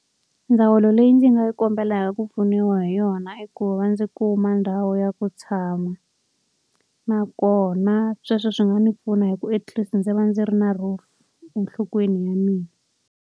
Ndzawulo leyi ndzi nga kombelaka ku pfuniwa hi yona i ku va ndzi kuma ndhawu ya ku tshama. Nakona sweswo swi nga ndzi pfuna hi ku at least ndzi va ndzi ri na roof enhlokweni ya mina.